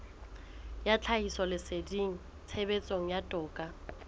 ya tlhahisoleseding tshebetsong ya toka